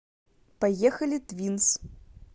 поехали твинс